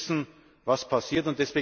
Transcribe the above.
Wir müssen wissen, was passiert.